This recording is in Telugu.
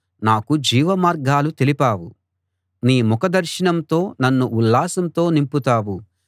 నాకు జీవమార్గాలు తెలిపావు నీ ముఖదర్శనంతో నన్ను ఉల్లాసంతో నింపుతావు